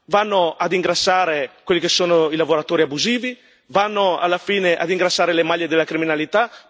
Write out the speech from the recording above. Vanno a ingrassare quelli che sono i lavoratori abusivi, vanno a ingrassare le maglie della criminalità.